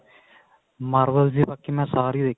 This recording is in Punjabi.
marvel ਦੀ ਬਾਕੀ ਮੈਂ ਸਾਰੀਆਂ